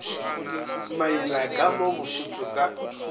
maila ka mo bosotho ka